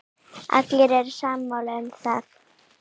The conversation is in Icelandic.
Allir eru sammála um það.